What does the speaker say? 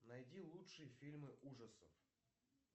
найди лучшие фильмы ужасов